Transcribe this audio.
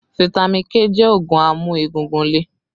Fitami K jẹ́ oogun amu egungun lè